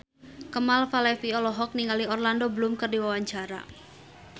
Kemal Palevi olohok ningali Orlando Bloom keur diwawancara